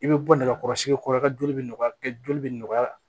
I bɛ bɔ nɛgɛkɔrɔsigi kɔrɔ ka joli bɛ nɔgɔya joli bɛ nɔgɔya